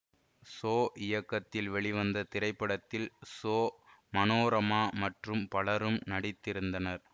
so இயக்கத்தில் வெளிவந்த இத்திரைப்படத்தில் சோ மனோரமா மற்றும் பலரும் நடித்திருந்தனர்